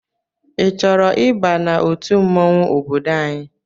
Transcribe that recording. I chọrọ ịba n'otu mmanwụ ọbọdọ anyị?